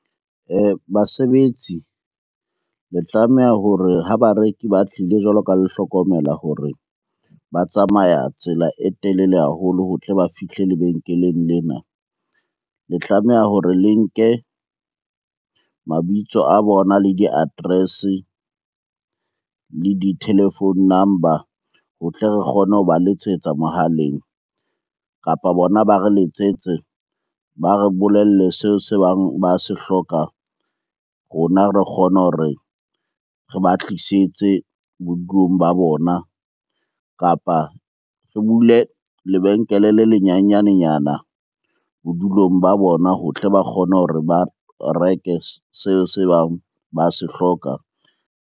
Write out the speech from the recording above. Basebetsi le tlameha hore ha bareki ba tlile jwalo ka le hlokomela hore ba tsamaya tsela e telele haholo ho tle ba fihle lebenkeleng lena. Le tlameha hore le nke mabitso a bona le di-address-e, le di-telephone number ho tle re kgone ho ba letsetsa mohaleng, kapa bona ba re letsetse ba re bolelle seo se bang ba se hlokang. Rona re kgone hore re ba tlisetse bodulong ba bona, kapa re bule lebenkele le le nyenyane nyana bodulong ba bona ho tle ba kgone hore ba reke seo se bang ba se hloka.